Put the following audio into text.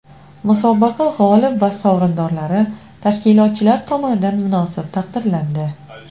Musobaqa g‘olib va sovrindorlari tashkilotchilar tomonidan munosib taqdirlandi.